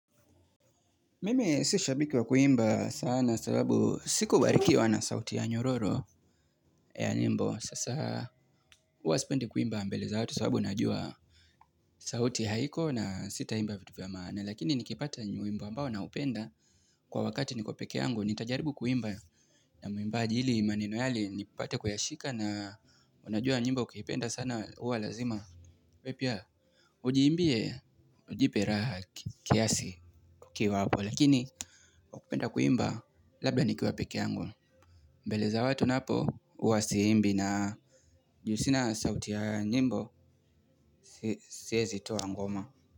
Mimi si shabiki wa kuimba sana sababu sikubarikiwa na sauti ya nyororo ya nyimbo. Sasa huwasipendi kuimba mbele watu sababu najua sauti haiko na sita imba vitu vya maana. Lakini nikipata nyimbo ambao naupenda kwa wakati niko pekeyango nitajaribu kuimba. Na muimbaji ili maneno yale nipate kuyashika na unajua nimbo ukiipenda sana huwa lazima wewe pia ujiimbie, ujipe raha kiasi ukiwa hapo. Lakini kwa kupenda kuimba labda nikiwa peke yangu. Mbele za watu napo huwa siimbi na ju sina sauti ya nyimbo siwezi toa ngoma.